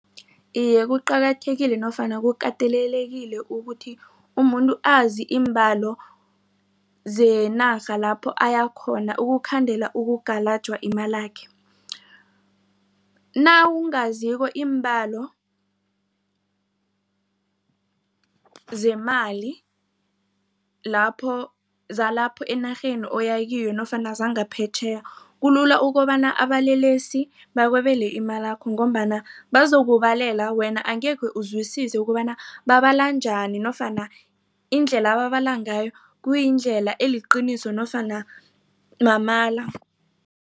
Iye, kuqakathekile nofana kukatelelekile ukuthi umuntu azi iimbalo zenarha lapho ayakhona ukukhandela ukugalajwa imalakhe. Nawungaziko iimbalo zemali lapho zalapha enarheni oya kiyo nofana zangaphetjheya kulula ukobana abalelesi bakwebele imalakho ngombana bazokubalela wena angekhe uzwisise ukobana babala njani nofana indlela ababala ngayo kuyindlela eliqiniso nofana mamala.